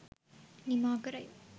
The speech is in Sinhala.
නිමා කරයි.